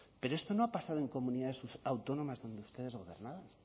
pero esto no ha pasado en comunidades autónomas donde ustedes gobernaban